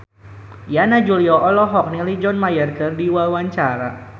Yana Julio olohok ningali John Mayer keur diwawancara